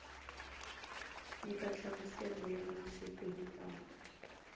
nyika nhlamuselo ya masiku hinkwawo